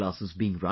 classes being run